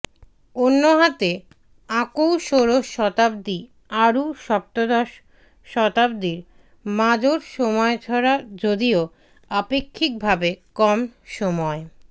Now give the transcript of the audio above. অন্যহাতে আকৌ ষোড়শ শতাব্দী আৰু সপ্তদশ শতাব্দীৰ মাজৰ সময়ছোৱা যদিও আপেক্ষিকভাৱে কম সময়